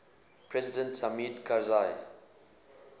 president hamid karzai